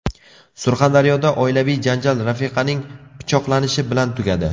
Surxondaryoda oilaviy janjal rafiqaning pichoqlanishi bilan tugadi.